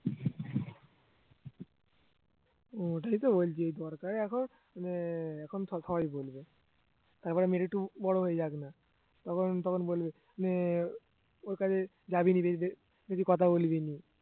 ওটাই তো বলছি দরকারে এখন মানে এখন সব~ সবাই বলবে তারপরে মেয়েটা একটু বড় হয়ে যাক না তখন তখন বলবে মেয়ে ওর কাছে যাবি না মিশতে বেশি কথা বলবি না